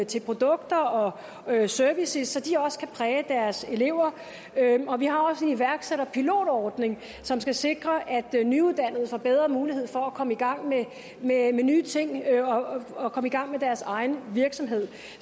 til produkter og services så de også kan præge deres elever vi har også en iværksætterpilotordning som skal sikre at nyuddannede får bedre mulighed for at komme i gang med nye ting og at komme i gang med deres egen virksomhed